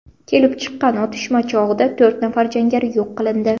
Kelib chiqqan otishma chog‘ida to‘rt nafar jangari yo‘q qilindi.